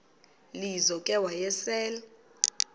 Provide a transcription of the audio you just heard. lizo ke wayesel